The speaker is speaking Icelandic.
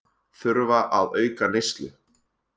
Þurfa að auka neyslu